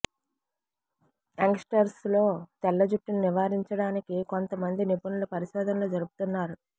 young స్టర్స్ లో తెల్ల జుట్టును నివారించడానికి కొంత మంది నిపునులు పరిశోధనలు జరుపుతున్నారు